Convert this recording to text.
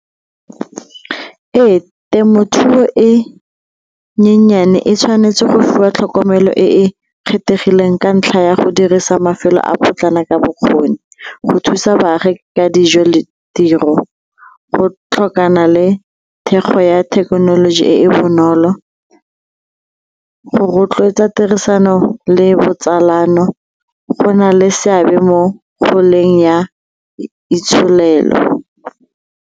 Ee, temothuo e nyenyane e tshwanetse go fiwa tlhokomelo e e kgethegileng ka ntlha ya go dirisa mafelo a potlana ka bokgoni go thusa baagi ka dijo ditiro, go tlhokana le thekgo ya thekenoloji e e bonolo. Go rotloetsa tirisano le botsalano go na le seabe mo goleng ya itsholelo.